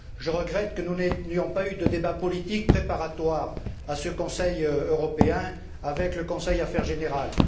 Je regrette que nous n'ayons pas eu de débat politique préparatoire à ce Conseil européen avec le Conseil Affaires générales.